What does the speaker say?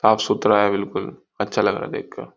साफ-सुथरा है बिल्कुल अच्छा लग रहा है देखकर।